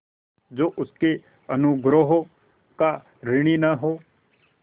जो उसके अनुग्रहों का ऋणी न हो